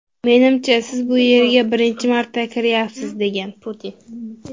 Menimcha, siz bu yerga birinchi marta kiryapsiz”, degan Putin.